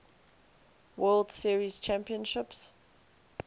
world series championships